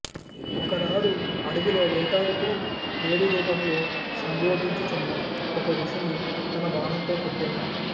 ఒకనాడు అడవిలో వేటాడుతూ లేడి రూపంలో సంభోగించుచున్న ఒక ఋషిని తన బాణంతో కొట్టెను